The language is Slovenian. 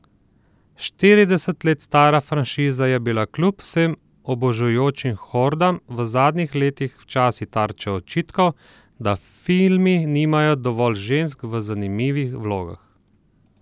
Štirideset let stara franšiza je bila kljub vsem obožujočim hordam v zadnjih letih včasih tarča očitkov, da filmi nimajo dovolj žensk v zanimivih vlogah.